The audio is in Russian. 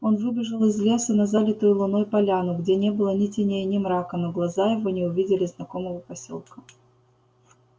он выбежал из лесу на залитую луной поляну где не было ни теней ни мрака но глаза его не увидели знакомого посёлка